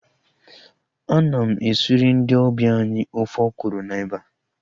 Ana m esiri ndị ọbịa anyị ofe ọkwụrụ na eba